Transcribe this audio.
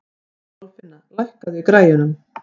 Kolfinna, lækkaðu í græjunum.